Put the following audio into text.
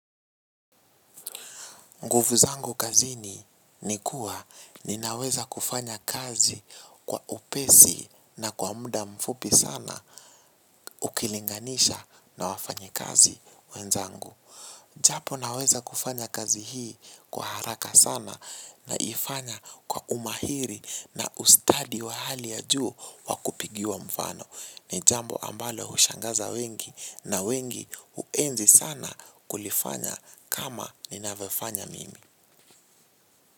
Nguvu zangu kazini ni kuwa ninaweza kufanya kazi kwa upesi na kwa muda mfupi sana ukilinganisha na wafanyi kazi wenzangu. Japo naweza kufanya kazi hii kwa haraka sana na ifanya kwa umahiri na ustadi wa hali ya juu wakupigiwa mfano. Nijambo ambalo hushangaza wengi na wengi huenzi sana kulifanya kama nina vyofanya mimi.